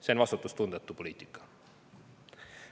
See on vastutustundetu poliitika.